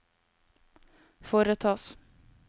foretas